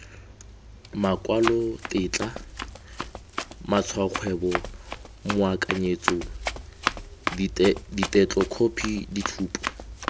makwalotetla matshwaokgwebo moakanyetso ditetlokhophi ditshupo